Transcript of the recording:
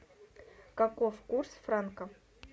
каков курс франка